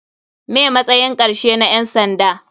Me matsayin karshe na ƴan sanda.